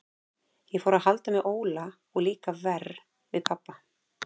Ég fór að halda með Óla og líka verr við pabba.